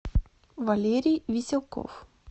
валерий веселков